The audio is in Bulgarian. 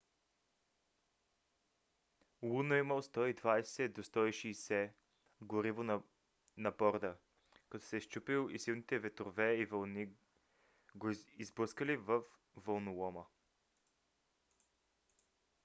луно имал 120 – 160 м3 гориво на борда когато се счупил и силните ветрове и вълни го изблъскали във вълнолома